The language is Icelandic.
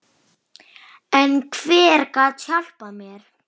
En hver gat hjálpað mér?